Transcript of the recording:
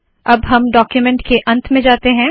अब हम डाक्यूमेन्ट के अंत में जाते है